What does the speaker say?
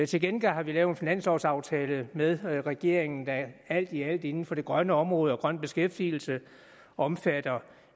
til gengæld har vi lavet en finanslovaftale med regeringen der alt i alt inden for det grønne område og grøn beskæftigelse omfatter